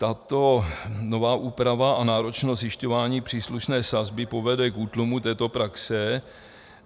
Tato nová úprava a náročnosti zjišťování příslušné sazby povede k útlumu této praxe.